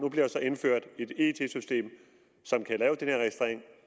der så indført et it system som kan lave den her registrering